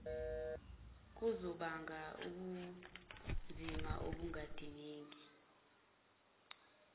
kuzobanga ubunzima obungadingeki